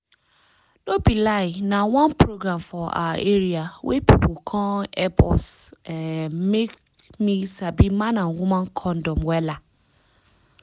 no be lie na one program for awa area wey pipu come epp us um make me sabi man and woman condom wella